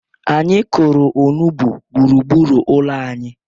Anyị kụrụ onugbu gburugburu ụlọ anyị.